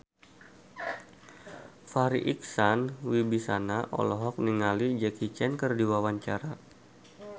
Farri Icksan Wibisana olohok ningali Jackie Chan keur diwawancara